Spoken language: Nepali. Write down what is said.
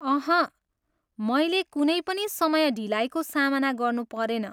अहँ, मैले कुनै पनि समय ढिलाइको सामना गर्नु परेन।